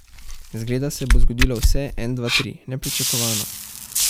Zgleda se bo zgodilo vse en, dva, tri, nepričakovano.